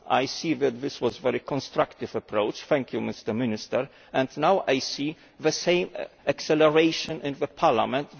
I see that this was a very constructive approach thank you, Minister and now I see the same acceleration in Parliament.